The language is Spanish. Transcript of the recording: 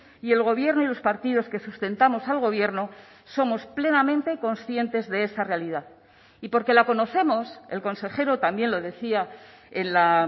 y el gobierno y los partidos que sustentamos al gobierno somos plenamente conscientes de esa realidad y porque la conocemos el consejero también lo decía en la